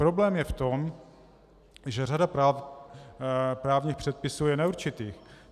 Problém je v tom, že řada právních předpisů je neurčitých.